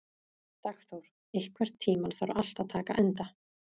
Dagþór, einhvern tímann þarf allt að taka enda.